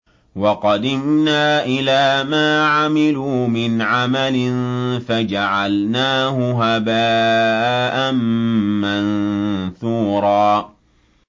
وَقَدِمْنَا إِلَىٰ مَا عَمِلُوا مِنْ عَمَلٍ فَجَعَلْنَاهُ هَبَاءً مَّنثُورًا